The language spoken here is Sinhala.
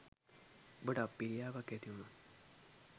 ඔබට අප්පිරියාවක් ඇතිවුණොත්